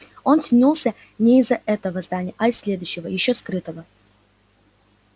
он тянулся не из-за этого здания а из следующего ещё скрытого